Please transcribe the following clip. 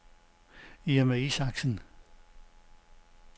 Irma Isaksen